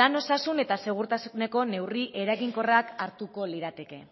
lan osasun eta segurtasuneko neurri eraginkorrak hartuko lirateke